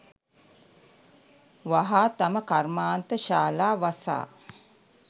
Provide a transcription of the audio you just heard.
වහා තම කර්මාන්ත ශාලා වසා